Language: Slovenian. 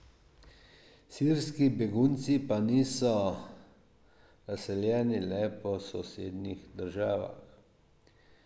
Sirski begunci pa niso razseljeni le po sosednjih državah.